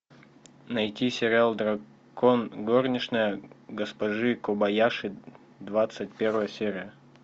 найти сериал дракон горничная госпожи кобаяши двадцать первая серия